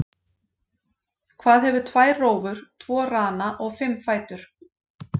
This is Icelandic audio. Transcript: Hvað hefur tvær rófur, tvo rana og fimm fætur?